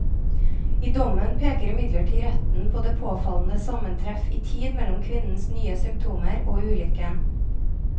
I dommen peker imidlertid retten på det påfallende sammentreff i tid mellom kvinnens nye symptomer og ulykken.